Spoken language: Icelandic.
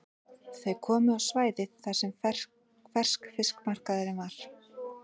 Þau komu á svæðið þar sem ferskfiskmarkaðurinn var.